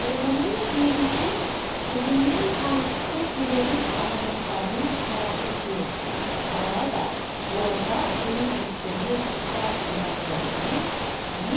тұрғынның сөзінше қызымен танысқысы келетін азаматтардың қарасы көп алайда болашақ күйеу жігіттермен сұқбат құрғаннан кейін